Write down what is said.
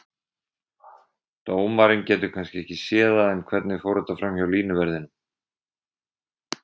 Dómarinn getur kannski ekki séð það, en hvernig fór þetta framhjá línuverðinum?